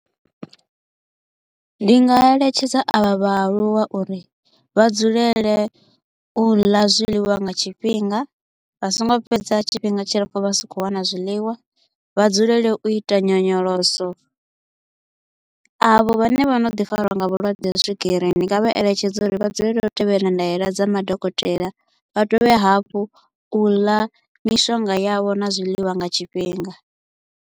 Ndi nga eletshedza a vha vhaaluwa uri vha dzulele u ḽa zwiḽiwa nga tshifhinga, vha so ngo fhedza tshifhinga tshilapfu vha sa kho u wana zwiḽiwa, vha dzulele u ita nyonyoloso. Avho vhane vho no ḓi fariwa nga vhulwadze ha swigiri, ndi nga vha eletshedza uri vha dzulela u tevhedzela ndaela dza madokotela, vha dovhe hafhu u ḽa mishonga yavho na zwiḽiwa nga tshifhinga.